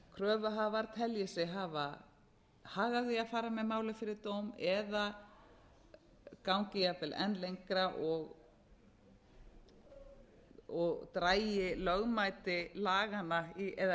kröfuhafar telji sig hafa hag af því að fara með málið fyrir dóm eða gangi jafnvel enn lengra og dragi lögmæti laganna eða